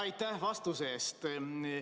Aitäh vastuse eest!